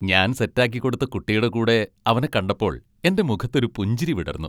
ഞാൻ സെറ്റാക്കിക്കൊടുത്ത കുട്ടിയുടെ കൂടെ അവനെ കണ്ടപ്പോൾ എൻ്റെ മുഖത്തൊരു പുഞ്ചിരി വിടർന്നു.